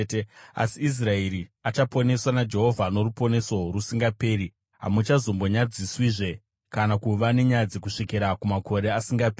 Asi Israeri achaponeswa naJehovha noruponeso rusingaperi; hamuchazombonyadziswi kana kuva nenyadzi, kusvikira kumakore asingaperi.